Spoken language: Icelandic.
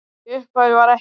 Í upphafi var ekkert.